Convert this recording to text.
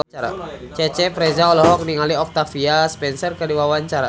Cecep Reza olohok ningali Octavia Spencer keur diwawancara